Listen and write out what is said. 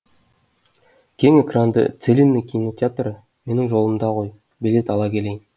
кең экранды целинный кинотеатры менің жолымда ғой билет ала келейін